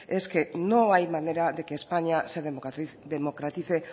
es que no hay manera de que españa se democratice